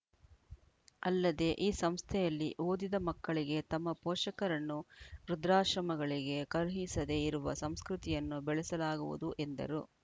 ಅಲ್ಲದೇ ಈ ಸಂಸ್ಥೆಯಲ್ಲಿ ಓದಿದ ಮಕ್ಕಳಿಗೆ ತಮ್ಮ ಪೋಷಕರನ್ನು ವೃದ್ಧಾಶ್ರಮಗಳಿಗೆ ಕಳುಹಿಸದೇ ಇರುವ ಸಂಸ್ಕೃತಿಯನ್ನು ಬೆಳೆಸಲಾಗುವುದು ಎಂದರು